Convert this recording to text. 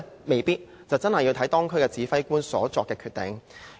未必，真的視乎當區指揮官所作的決定。